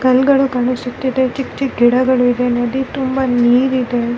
ಕಣ್ಣುಗಳು ಕಾಣಿಸುತ್ತಿದೆ ಚಿಕ್ಕ್ ಚಿಕ್ಕ್ ಗಿಡಗಳು ಇದೆ ನದಿ ತುಂಬಾ ನೀರ್ ಇದೆ .